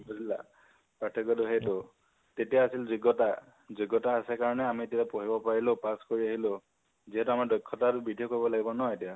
বুজিলা? পাৰ্থক্য টো সেইতো । তেতিয়া আছিল যোগ্য়তা । যোগ্য়তা আছে কাৰণে আমি তেতিয়া পঢ়িব পাৰিলো pass কৰি আহিলো । যিহেতু আমাৰ দক্ষতা তো বৃদ্ধি কৰিব লাগিব ন এতিয়া